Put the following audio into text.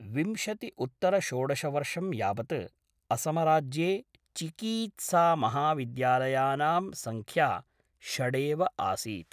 विंशतिउत्तरषोडशवर्षं यावत् असमराज्ये चिकीत्सामहाविद्यालयानां संख्या षडेव आसीत्।